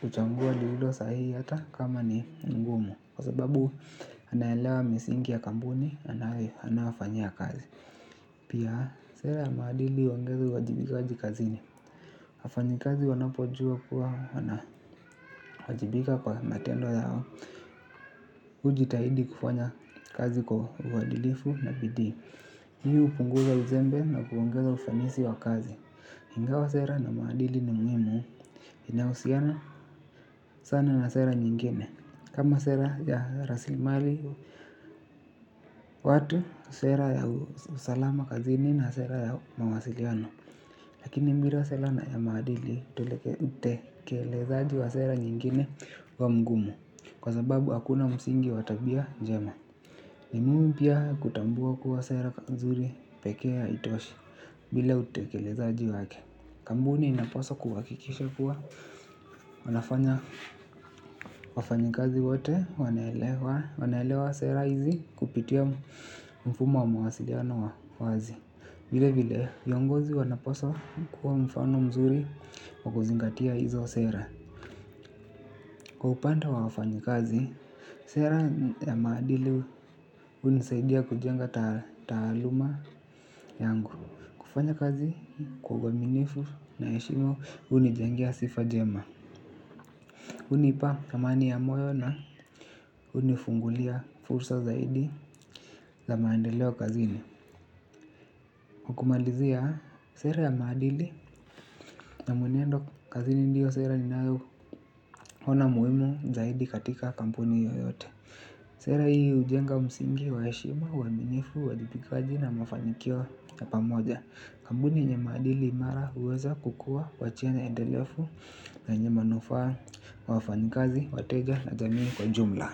kuchangua lililo sahihi hata kama ni ngumu. Kwa sababu anaelewa misingi ya kampuni anaofanyia kazi. Pia sera ya madili hongeza uwajibikaji kazini. Wafanyi kazi wanapojua kuwa wana wajibika kwa matendo yao. Uji tahidi kufanya kazi kwa uadilifu na bidii w. Hii hupunguza uzembe na kuongeza ufanisi wa kazi ingawa sera na maadili ni muhimu inahusiana sana na sera nyingine. Kama sera ya raslimali watu sera ya usalama kazini na sera ya mawasiliano lakini bila sera na ya maadili utekelezaji wa sera nyingine huwa mgumu. Kwa sababu hakuna msingi watabia njema ni muhimu pia kutambua kuwa sera nzuri pekee haitoshi bila utekelezaji wake. Kampuni inapaswa kuhakikisha kuwa wanafanya wafanyikazi wote wanelewa sera hizi kupitia mfumo wa mawasiliano wa wazi. Vile vile viongozi wanapaswa kuwa mfano mzuri wakuzingatia hizo sera. Kwa upande wa wafanyikazi, sera ya maadili hunisaidia kujenga taaluma yangu. Kufanya kazi kwa uaminifu na heshima unijengea sifa njema. Hunipa thamani ya moyo na unifungulia fursa zaidi za maendeleo kazini. Kwakumalizia, sera ya maadili na mwenendo kazini ndio sera ni nao ona muhimu zaidi katika kampuni yoyote. Sera hii hujenga msingi wa heshima, uaminifu, uwajibikaji na mafanikio ya pamoja. Kampuni yenye maadili imara huweza kukuwa wachina endelefu yenye manufaa wafanyikazi, wateja na jamii kwa jumla.